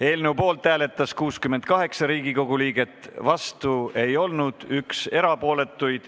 Eelnõu poolt hääletas 68 Riigikogu liiget, vastuolijaid ei olnud, oli üks erapooletu.